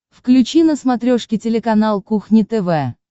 включи на смотрешке телеканал кухня тв